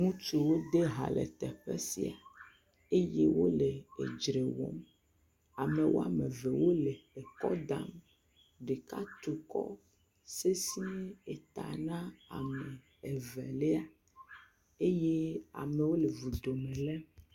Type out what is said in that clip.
Ŋutsuwo de ha le teƒe sia eye wole edzre wɔm. Ame wɔme eve wole ekɔ dam. Ɖeka tu kɔ sese eta na ame evelia eye amewo le vudo lém.